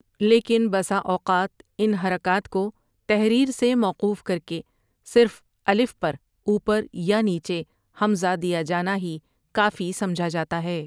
لیکن بسا اوقات ان حرکات کو تحریر سے موقوف کر کہ صرف الف پر اوپر یا نیچے ہمزہ دیا جانا ہی کافی سمجھا جاتا ہے ۔